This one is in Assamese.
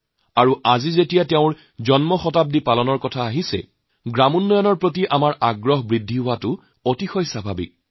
আজি আমি যেতিয়া তেওঁৰ শতবৰ্ষ পালন কৰিছো তেতিয়া তেওঁৰ গ্ৰামোন্নয়নৰ কামক শ্ৰদ্ধা জনোৱাটো অতি স্বাভাবিক কথা